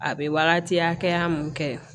A bɛ wagati hakɛya mun kɛ